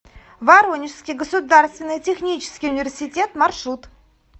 воронежский государственный технический университет маршрут